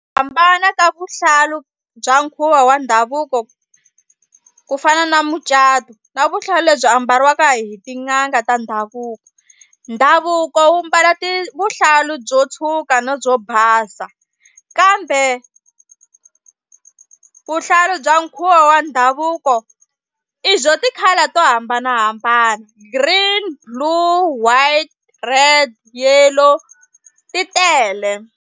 Hambana ka vuhlalu bya nkhuvo wa ndhavuko ku fana na mucato na vuhlalu lebyi ambariwaka hi tin'anga ta ndhavuko. Ndhavuko wu mbala ti vuhlalu byo tshuka na byo basa kambe vuhlalu bya nkhuvo wa ndhavuko i byo ti-colour to hambanahambana green, blue, white, red, yellow ti tele.